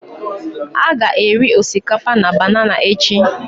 A ga-eri osikapa na banana echi